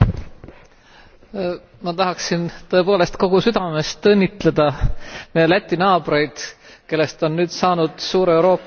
Ma tahaksin tõepoolest kogu südamest õnnitleda Läti naabreid, kellest on nüüd saanud suure Euroopa Liidu eesistujamaa.